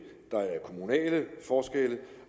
der er kommunale forskelle